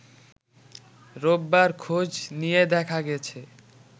রোববার খোঁজ নিয়ে দেখা গেছে